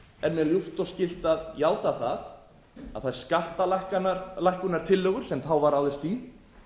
er mér ljúft og skylt að játa það að þær skattalækkunartillögur sem þá var ráðist í